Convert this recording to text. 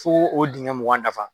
Fo o dingɛ mugan dafa.